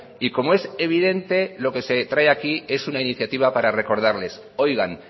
y como es evidente lo que se trae aquí es una iniciativa para recordarles oigan